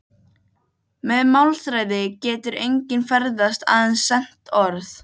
Með málþræði getur enginn ferðast- aðeins sent orð.